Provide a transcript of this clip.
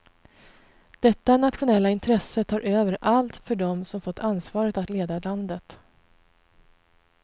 Detta nationella intresse tar över allt för dem som fått ansvaret att leda landet.